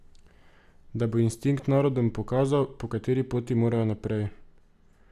Da bo instinkt narodom pokazal, po kateri poti morajo naprej.